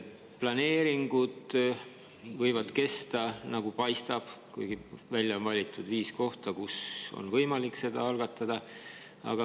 Planeeringud võivad kesta, nagu paistab, kuigi välja on valitud viis kohta, kus on võimalik seda algatada.